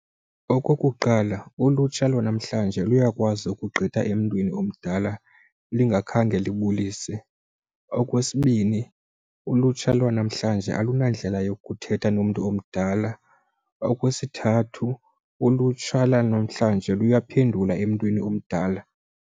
Okokuqala ulutsha lwanamhlanje luyakwazi ukugqitha emntwini omdala lingakhange libulise. Okwesibini ulutsha lwanamhlanje alunandlela yokuthetha nomntu omdala. Okwesithathu ulutsha lwanamhlanje luya phendula emntwini omdala.